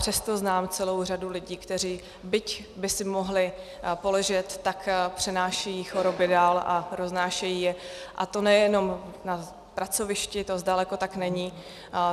Přesto znám celou řadu lidí, kteří byť by si mohli poležet, tak přenášejí choroby dál a roznášejí je, a to nejenom na pracovišti, to zdaleka tak není.